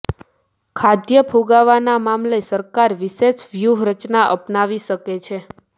ખાદ્ય ફુગાવાના મામલે સરકાર વિશેષ વ્યૂહરચના અપનાવી શકે છે